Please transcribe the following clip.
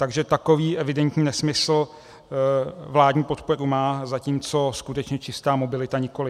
Takže takový evidentní nesmysl vládní podporu má, zatímco skutečně čistá mobilita nikoliv.